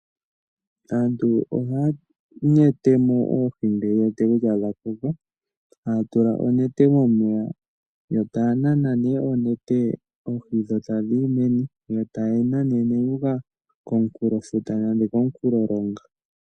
Aantu ohaya nete mo oohi ngele ye wete dha koka. Haa tula onete momeya yo taa nana nee onete oohi dho tadhi yi meni, yo taye nanene yu uka komunkulofuta nenge komunkulolonga.